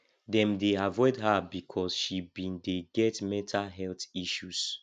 dem dey avoid her because she bin dey get mental health issues